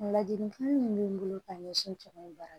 Ladilikan min bɛ n bolo ka ɲɛsin jamana in baara